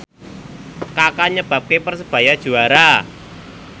Kaka nyebabke Persebaya juara